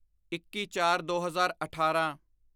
ਇੱਕੀਚਾਰਦੋ ਹਜ਼ਾਰ ਅਠਾਰਾਂ